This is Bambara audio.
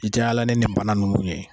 I tɛ yala ne nin bana ninnu ye